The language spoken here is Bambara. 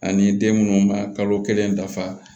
Ani den munnu ma kalo kelen dafa